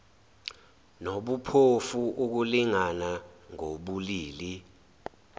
nobuphofu ukulingana ngobulili